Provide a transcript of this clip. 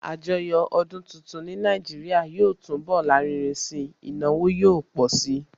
Àjọyọ̀ ọdún tuntun ní Nàìjíríà yóò túnbọ̀ lárinrin si, ìnáwó yóò pọ̀ si